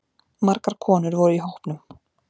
Margar konur voru í hópnum